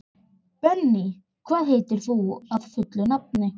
Benný, hvað heitir þú fullu nafni?